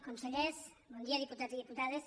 consellers bon dia diputats i diputades